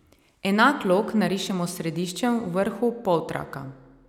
Enak lok narišemo s središčem v vrhu poltraka.